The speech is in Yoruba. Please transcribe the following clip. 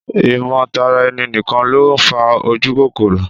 Ìmọ̀- tara- ẹni-nìkan ló ń fa ojúkòkòrò